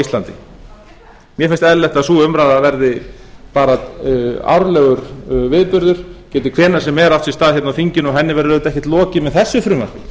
íslandi mér eins eðlilegt að sú umræða verði bara árlegur viðburður geti hvenær sem er átt sér stað hérna á þinginu og henni verður auðvitað ekkert lokið með þessu frumvarpi